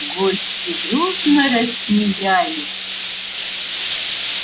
гости дружно рассмеялись